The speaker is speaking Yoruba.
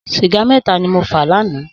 Sìgá mètá ni mó fà lànã